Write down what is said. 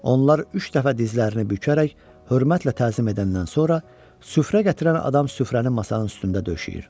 Onlar üç dəfə dizlərini bükərək hörmətlə təzim edəndən sonra süfrə gətirən adam süfrəni masanın üstündə döşəyir.